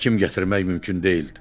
Həkim gətirmək mümkün deyildi.